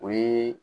O ye